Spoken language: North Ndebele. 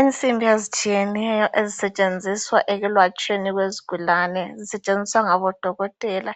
Insimbi ezitshiyeneyo , ezisetshenziswa ekwelatshweni kwezigulane. Zisetshenziswa ngabodokothela